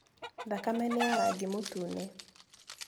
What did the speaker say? Thakame nĩ ya rangi mũtune.